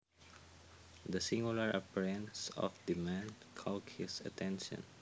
The singular appearance of the man caught his attention